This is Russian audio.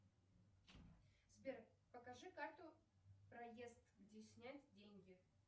сбер покажи карту проезд где снять деньги